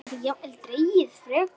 Það gæti jafnvel dregist frekar.